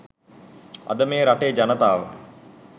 අද මේ රටේ ජනතාව